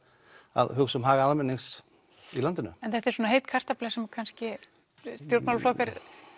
að hugsa um hag almennings í landinu en þetta er svona heit kartafla sem kannski stjórnmálaflokkar